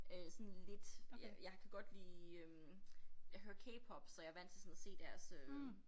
Øh sådan lidt jeg jeg kan godt lide øh jeg hører k-pop så jeg vant til sådan at se deres øh